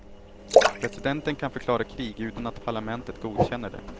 Presidenten kan förklara krig utan att parlamentet godkänner det.